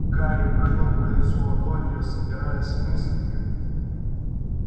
гарри провёл по лицу ладонью собираясь с мыслями